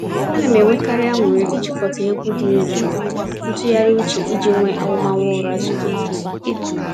A na m enwekarị anụrị ijikọta egwu dị nro na ntụgharị uche iji nwee ahụmahụ ụra zuru ike nke ọma.